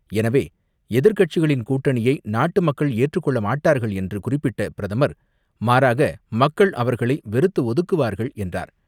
எனவே, எதிர்க்கட்சிகளின் கூட்டணியை நாட்டு மக்கள் ஏற்றுக் கொள்ள மாட்டார்கள் என்று குறிப்பிட்ட பிரதமர், மாறாக, மக்கள் அவர்களை வெறுத்து ஒதுக்குவார்கள் என்றார்.